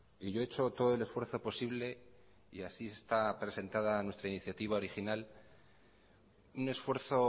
y yo he hecho todo el esfuerzo posible y así está presentada nuestra iniciativa original un esfuerzo